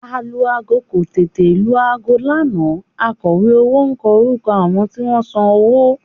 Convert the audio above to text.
Alu-aago kò tètè lu aago lánàá akọ̀wé owó kọ orúkọ àwọn tí wọ́n san owó